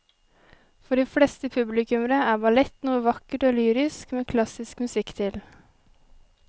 For de fleste publikummere er ballett noe vakkert og lyrisk med klassisk musikk til.